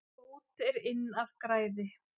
Bót er inn af græði.